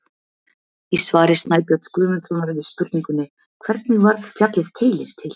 Í svari Snæbjörns Guðmundssonar við spurningunni: Hvernig varð fjallið Keilir til?